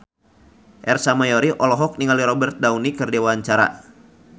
Ersa Mayori olohok ningali Robert Downey keur diwawancara